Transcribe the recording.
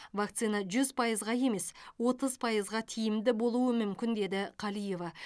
вакцина жүз пайызға емес отыз пайызға тиімді болуы мүмкін деді қалиева